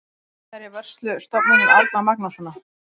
Það er í vörslu Stofnunar Árna Magnússonar.